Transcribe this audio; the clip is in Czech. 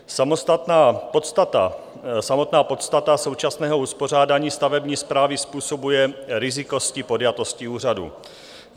Samostatná podstata současného uspořádání stavební správy způsobuje rizikovost podjatosti úřadů.